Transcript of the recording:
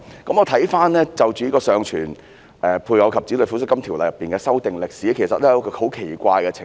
關於《尚存配偶及子女撫恤金條例》的修訂歷史，其實出現了一個很奇怪的情況。